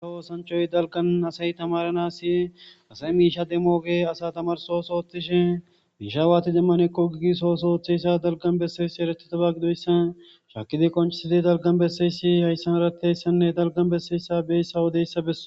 Asa woosanchoy dalgan asay tamaranasi asay miisha demooge asa tamarsosoothtishe miishawati demman ekko gigis oosooththeyssa dalgan besseyssi eretito ba gidoyssa shakidi qonchisidi dalgan besseyssi hayssan eratteyssenne dalgan besseyssa beyssa wodeyssa beso.